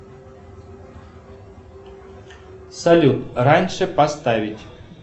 салют раньше поставить